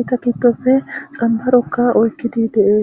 eta gidope xamaro oyikidi de'es